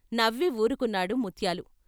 నవ్వి వూరుకున్నాడు ముత్యాలు.